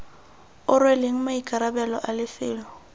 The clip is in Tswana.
o rweleng maikarabelo a lefelo